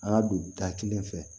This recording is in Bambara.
An ka don da kelen fɛ